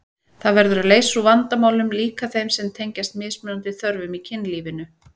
Það verður að leysa úr vandamálum, líka þeim sem tengjast mismunandi þörfum í kynlífinu.